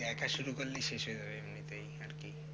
দেখা শুরু করলেই শেষ হয়ে যাবে